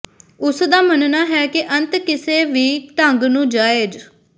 ਉਸ ਦਾ ਮੰਨਣਾ ਹੈ ਕਿ ਅੰਤ ਕਿਸੇ ਵੀ ਢੰਗ ਨੂੰ ਜਾਇਜ਼